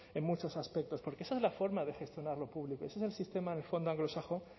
en muchos aspectos porque esa es la forma de gestionar lo público ese es el sistema de fondo anglosajón